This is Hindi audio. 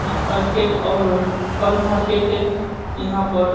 मार्केट और फल मार्केट है इहां पर।